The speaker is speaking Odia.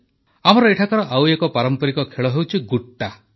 ଆମର ଏଠାକାର ଆଉ ଏକ ପାରମ୍ପରିକ ଖେଳ ହେଉଛି ଗୁଟ୍ଟା